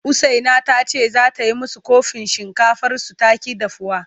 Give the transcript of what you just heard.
Usaina ta ce za ta yi musu ƙofi shinkafarsu ta ƙi dahuwa.